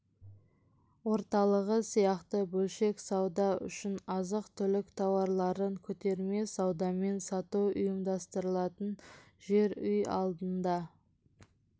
орталығы сияқты бөлшек сауда үшін азық түлік тауарларын көтерме саудамен сату ұйымдастырылатын жер үй алдында